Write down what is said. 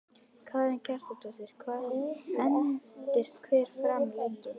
Karen Kjartansdóttir: Hvað endist hver farmur lengi?